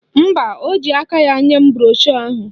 Mba, o ji aka ya nye m broshu ahụ.